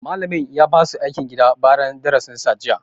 Malamin ya ba su aikin gida bayan darasin sa jiya